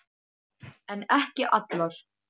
En ekki allar.